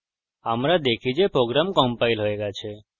আমরা দেখি যে program compiled we গেছে